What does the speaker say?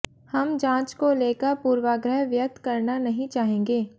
हम जांच को लेकर पूर्वाग्रह व्यक्त करना नहीं चाहेंगे